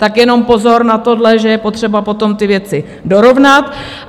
Tak jenom pozor na tohle, že je potřeba potom ty věci dorovnat.